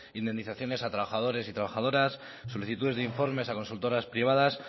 indemnizaciones a trabajadores y trabajadoras solicitudes de informes a consultoras privadas